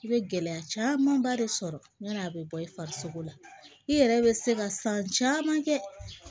I bɛ gɛlɛya camanba de sɔrɔ yani a bɛ bɔ i farisogo la i yɛrɛ bɛ se ka san caman kɛ